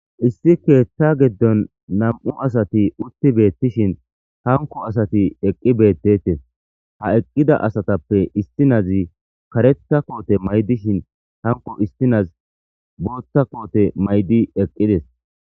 issi keeththa giddon nam7u asati utti beettishin hanko asati eqqi beettetes ha eqqida asatappe istinazi kareta koote maydishin hanko istinaz bootta koote maydi eqqides